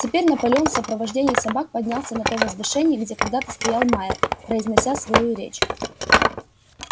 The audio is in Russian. теперь наполеон в сопровождении собак поднялся на то возвышение где когда-то стоял майер произнося свою речь